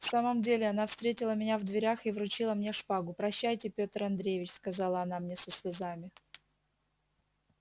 в самом деле она встретила меня в дверях и вручила мне шпагу прощайте петр андреич сказала она мне со слезами